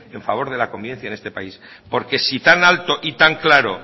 en favor de la convivencia en esta país porque si tan alto y tan claro